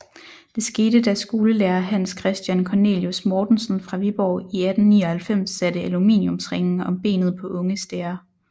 Det skete da skolelærer Hans Christian Cornelius Mortensen fra Viborg i 1899 satte aluminiumsringe om benet på unge stære